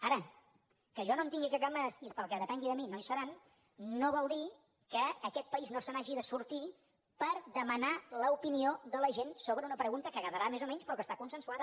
ara que jo no en tingui cap ganes i que pel que depengui de mi no hi seran no vol dir que aquest país no se n’hagi de sortir per demanar l’opinió de la gent sobre una pregunta que agradarà més o menys però que està consensuada